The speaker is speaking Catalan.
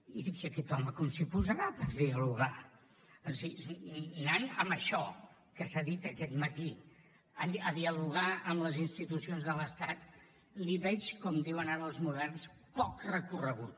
i dic i aquest home com s’hi posarà per dialogar anant amb això que s’ha dit aquest matí a dialogar amb les institucions de l’estat li veig com diuen ara els moderns poc recorregut